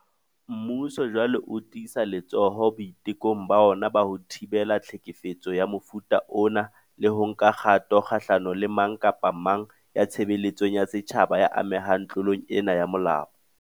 Mmuso jwale o tiisa letsoho boitekong ba ona ba ho thibela tlhekefetso ya mofuta ona le ho nka kgato kgahlano le mang kapa mang ya tshebeletsong ya setjhaba ya amehang tlo long ena ya molao.